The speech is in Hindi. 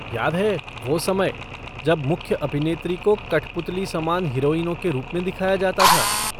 याद है वो समय जब मुख्य अभिनेत्री को कठपुतली समान हीरोइनों के रूप में दिखाया जाता था?